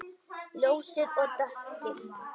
Ljósir og dökkir.